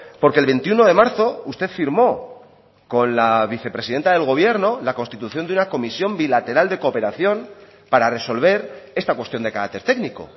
porque el veintiuno de marzo usted firmó con la vicepresidenta del gobierno la constitución de una comisión bilateral de cooperación para resolver esta cuestión de carácter técnico